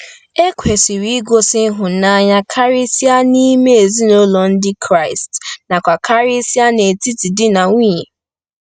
E kwesịrị igosi ịhụnanya karịsịa n'ime ezinụlọ Ndị Kraịst nakwa karịsịa n'etiti di na nwunye.